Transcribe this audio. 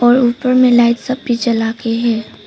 और ऊपर में लाइट सफेद जला के है।